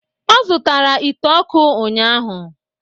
Ọ zụtara ite ọkụ ụnyahụ